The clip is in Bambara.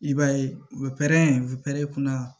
I b'a ye u bɛ pɛrɛn urɛ kunna